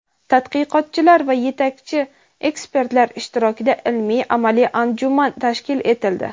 tadqiqotchilar va yetakchi ekspertlar ishtirokida ilmiy-amaliy anjuman tashkil etildi.